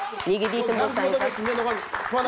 неге дейтін болсаңыздар